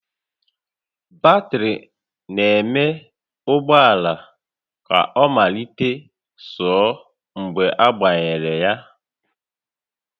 Batrị na-eme ụgbọ ala ka ọ mallite sụọ mgbe agbanyere